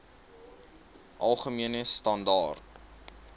algemene standaar